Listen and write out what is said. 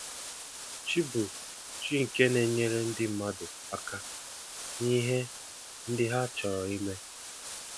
Chi bụ chi nke na-enyere ndị mmadụ aka n'ihe ndị ha chọrọ ime.